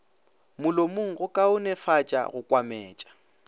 molomong go kaonefatša go kwametša